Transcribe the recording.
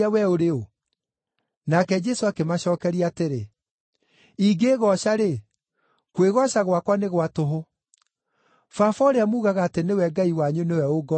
Nake Jesũ akĩmacookeria atĩrĩ, “Ingĩĩgooca-rĩ, kwĩgooca gwakwa nĩ gwa tũhũ. Baba, ũrĩa muugaga atĩ nĩwe Ngai wanyu nĩwe ũngoocithagia.